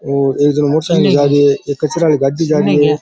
और एक जनो मोटरसाइकिल ले जा रहियो है एक कचरा आली गाड़ी जा रही है।